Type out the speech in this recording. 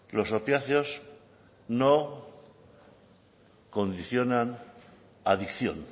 los opiáceos no condicionan adicción